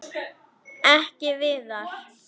Ekki Viðar.